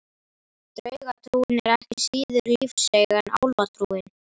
Draugatrúin er ekki síður lífseig en álfatrúin.